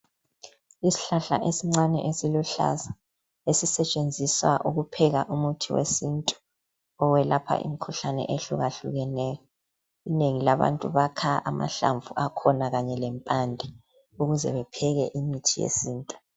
Isihlahla esincane esiluhlaza esisetshenziswa ukupheka umuthi wesintu owelapha imikhuhlane ehluka hlukeneyo inengi labantu bakha amahlamvu akhona kanye lempande ukuze bepheke imithi yesintu.